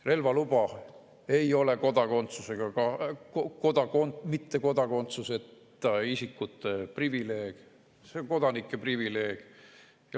Relvaluba ei ole mitte kodakondsuseta isikute privileeg, see on kodanike privileeg.